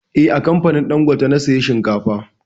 Eh, a kamfanin dangote na saya shinkafa